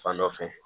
Fan dɔ fɛ